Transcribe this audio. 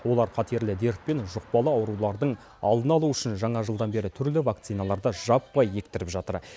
олар қатерлі дерт пен жұқпалы аурулардың алдын алу үшін жаңа жылдан бері түрлі вакциналарды жаппай ектіріп жатыр